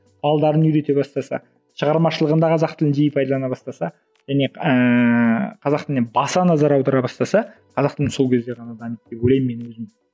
үйрете бастаса шығармашылығында қазақ тілін жиі пайдалана бастаса және ыыы қазақ тіліне баса назар аудара бастаса қазақ тілі сол кезде ғана дамиды деп ойлаймын мен өзім